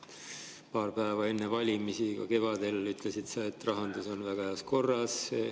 Paar päeva enne valimisi kevadel ütlesid sa, et rahandus on väga heas korras.